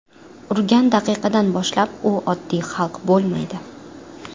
Urgan daqiqadan boshlab, u oddiy xalq bo‘lmaydi!